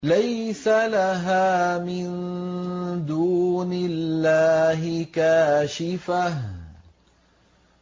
لَيْسَ لَهَا مِن دُونِ اللَّهِ كَاشِفَةٌ